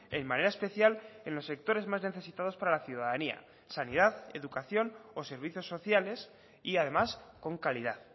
en manera especial en los sectores más necesitados para la ciudadanía sanidad educación o servicios sociales y además con calidad